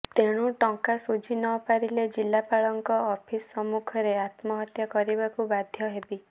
ତେଣୁ ଟଙ୍କା ଶୁଝି ନ ପାରିଲେ ଜିଲ୍ଲାପାଳଙ୍କ ଅଫିସ୍ ସମ୍ମୁଖରେ ଆତ୍ମହତ୍ୟା କରିବାକୁ ବାଧ୍ୟ ହେବି